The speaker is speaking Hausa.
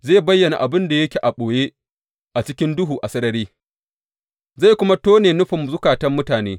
Zai bayyana abin da yake a ɓoye a cikin duhu a sarari, zai kuma tone nufin zukatan mutane.